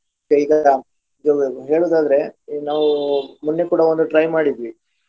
ಹೇಳುದಾದ್ರೆ ಈಗ ನಾವು ಮೊನ್ನೆ ಕೂಡ ಒಂದು try ಮಾಡಿದ್ವಿ.